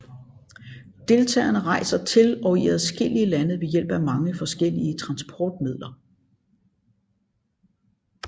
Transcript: Deltagerene rejser til og i adskillige lande ved hjælp af mange forskellige transportmidler